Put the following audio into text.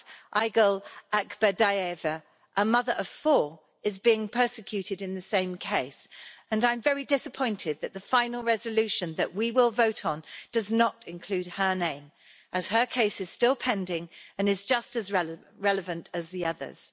Aigul Akberdiyeva, a mother of four, is being persecuted in the same case and I'm very disappointed that the final resolution we will vote on does not include her name, as her case is still pending and is just as relevant as the others.